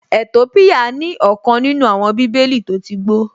Ètópíyà ní ọ̀kan nínú àwọn bíbélì tó tí gbó